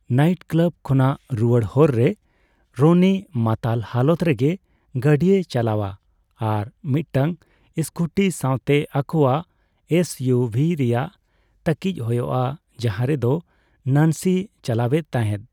Night club ᱠᱷᱚᱱᱟᱜ ᱨᱩᱣᱟᱹᱲ ᱦᱚᱨ ᱨᱮ, ᱨᱚᱱᱤ ᱢᱟᱛᱟᱞ ᱦᱟᱞᱚᱛ ᱨᱮᱜᱮ ᱜᱟᱰᱤᱭ ᱪᱟᱞᱟᱣᱟ, ᱟᱨ ᱢᱤᱫᱴᱟᱝ ᱥᱠᱩᱴᱤ ᱥᱟᱣᱛᱮ ᱟᱠᱚᱣᱟᱜ ᱮᱥᱭᱩᱵᱷᱤ ᱨᱮᱭᱟᱜ ᱛᱟᱹᱠᱤᱡ ᱦᱳᱭᱳᱜᱼᱟ ᱡᱟᱦᱟᱸ ᱨᱮᱫᱚ ᱱᱟᱱᱥᱤᱭ ᱪᱟᱞᱟᱣᱮᱫ ᱛᱟᱦᱮᱫ ᱾